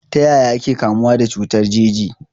Ta yaya ake kamuwa da cutar jeji?